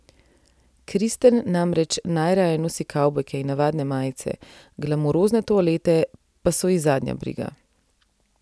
Kristen namreč najraje nosi kavbojke in navadne majice, glamurozne toalete pa so ji zadnja briga.